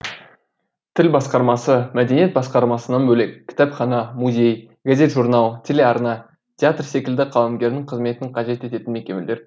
тіл басқармасы мәдениет басқармасынан бөлек кітапхана музей газет журнал телеарна театр секілді қаламгердің қызметін қажет ететін мекемелер